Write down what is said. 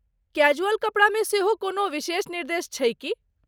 Casual कपड़ामे सेहो कोनो विशेष निर्देश छै की?